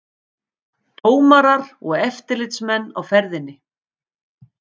Dómarar og eftirlitsmenn á ferðinni